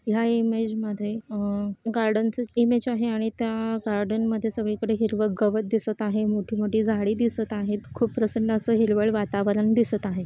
या इमेज मध्ये अह गार्डन च इमेज आहे आणि त्या गार्डन मध्ये सगळीकडे हिरवं गवत दिसत आहे मोठी मोठी झाडी दिसत आहेत खूप प्रसन्न असं हिरवळ वातावरण दिसत आहे.